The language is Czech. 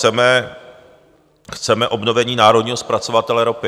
Chceme obnovení národního zpracovatele ropy.